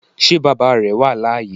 Ṣé bàbá rẹ̀ wà láàyè